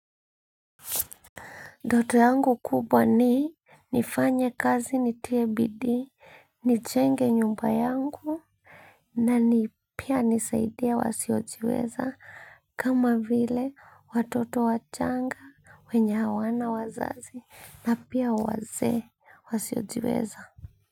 Ndoto yangu kubwa ni nifanye kazi nitie bidii, nichenge nyumba yangu na ni pia nisaidie wasiojiweza kama vile watoto wachanga wenye hawana wazazi na pia wazee wasiojiweza.